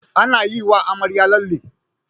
An yi wa amarya lalle